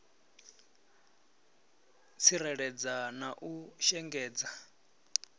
u tsikeledza na u shengedza